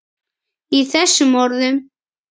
Í þessum orðum